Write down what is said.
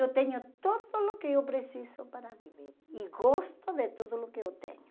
Eu tenho tudo o que eu preciso para viver e gosto de tudo o que eu tenho.